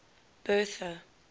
bertha